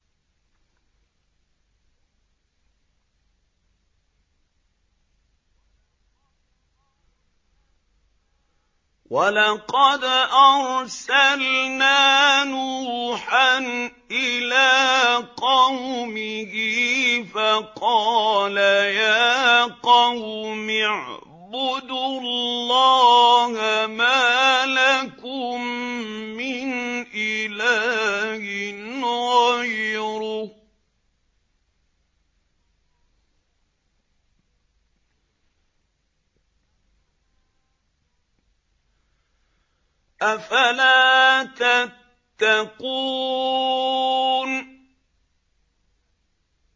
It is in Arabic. وَلَقَدْ أَرْسَلْنَا نُوحًا إِلَىٰ قَوْمِهِ فَقَالَ يَا قَوْمِ اعْبُدُوا اللَّهَ مَا لَكُم مِّنْ إِلَٰهٍ غَيْرُهُ ۖ أَفَلَا تَتَّقُونَ